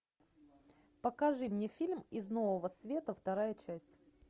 покажи мне фильм из нового света вторая часть